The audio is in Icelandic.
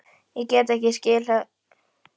Ég get ekki skilið þetta, sagði Lóa.